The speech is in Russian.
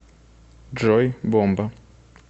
джой бомба